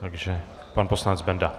Takže pan poslanec Benda.